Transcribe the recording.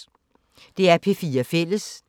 DR P4 Fælles